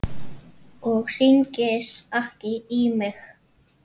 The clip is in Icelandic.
Og hringir ekki í mig.